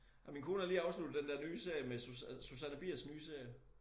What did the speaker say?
Ej min kone har lige afsluttet den der nye serie med Susanne Biers nye serie